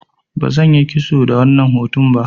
Bazan yi kitso ba wannan hutun.